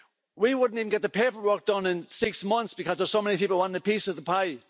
We wouldn't even get the paperwork done in six months because there are so many people wanting a piece of the pie.